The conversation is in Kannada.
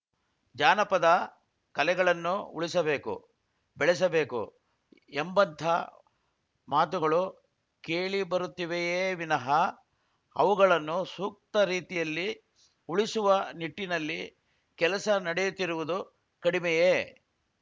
ಜಾನಪದ ಕಲೆಗಳನ್ನು ಉಳಿಸಬೇಕು ಬೆಳೆಸಬೇಕು ಎಂಬಂಥ ಮಾತುಗಳು ಕೇಳಿಬರುತ್ತಿವೆಯೇ ವಿನಃ ಅವುಗಳನ್ನು ಸೂಕ್ತ ರೀತಿಯಲ್ಲಿ ಉಳಿಸುವ ನಿಟ್ಟಿನಲ್ಲಿ ಕೆಲಸ ನಡೆಯುತ್ತಿರುವುದು ಕಡಿಮೆಯೇ